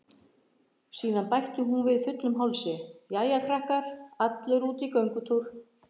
Síðan bætti hún við fullum hálsi: Jæja krakkar, allir út í göngutúr